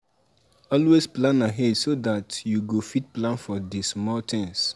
Always plan ahead so dat you go fit plan for di small things